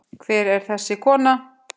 Hver er þessi kona?